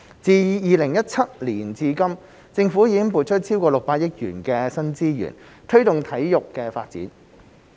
自2017年至今，政府已撥出超過600億元的新資源，推動體育發展。